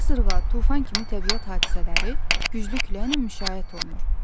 Qasırğa, tufan kimi təbii hadisələri güclü küləklə müşayiət olunur.